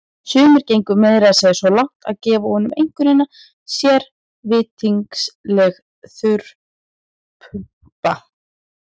Sumir gengu meira að segja svo langt að gefa honum einkunnina sérvitringsleg þurrpumpa.